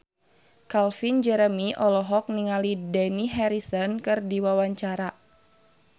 Calvin Jeremy olohok ningali Dani Harrison keur diwawancara